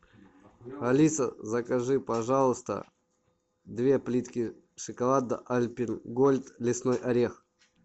алиса закажи пожалуйста две плитки шоколада альпен гольд лесной орех